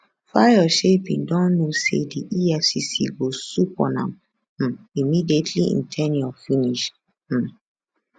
fayose bin don know say di efcc go swoop on am um immediately im ten ure finish um